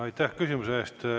Aitäh küsimuse eest!